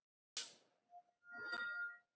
Hvað getur maður sagt í slíkum aðstæðum?